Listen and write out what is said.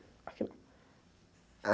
Aqui não.